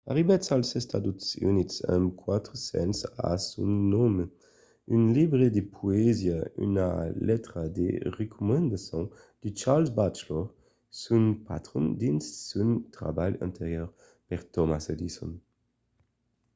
arribèt als estats units amb 4 cents a son nom un libre de poesia e una letra de recomendacion de charles batchelor son patron dins son trabalh anterior per thomas edison